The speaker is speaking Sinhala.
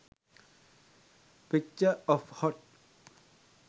picture of hot